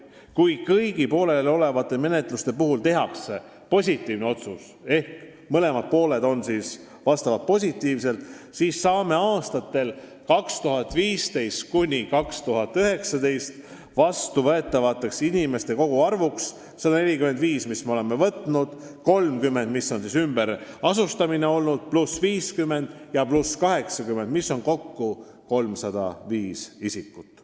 Kui kõigi pooleliolevate menetluste puhul tehakse positiivne otsus ehk mõlemad pooled on lahendusega nõus, siis saame aastatel 2015–2019 vastu võetavate inimeste koguarvuks 145 pluss 30 , pluss 50 ja pluss 80, mis on kokku 305 isikut.